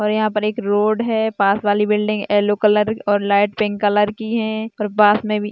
और यहाँ पर एक रोड है पास वाली बिल्डिंग येलो कलर और लाइट पिंक कलर की है और पास में भी --